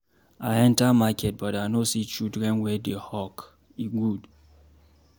I enter market but I no see children wey dey hawk, e good.